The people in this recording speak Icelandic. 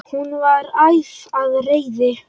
Hún var æf af reiði.